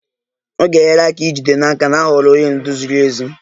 Ọ ga-enyere aka ijide n'aka na a họọrọ onye ndu ziri ezi.